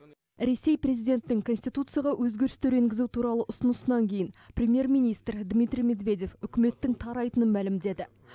ресей президентінің конституцияға өзгерістер енгізу туралы ұсынысынан кейін премьер министр дмитрий медведев үкіметтің тарайтынын мәлімдеді